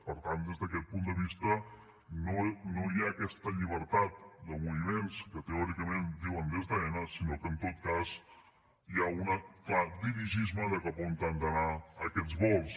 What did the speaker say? per tant des d’aquest punt de vista no hi ha aquesta llibertat de moviments que teòricament diuen des d’aena sinó que en tot cas hi ha un clar dirigisme de cap a on han d’anar aquests vols